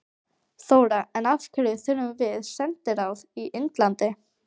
Þóra: En af hverju þurfum við sendiráð í Indlandi?